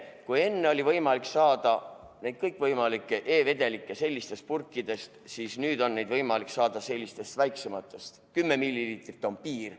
Kui enne oli võimalik saada kõikvõimalikke e-vedelikke normaalsetest pudelitest, siis nüüd on neid võimalik saada sellistest väiksematest, kümme milliliitrit on piir.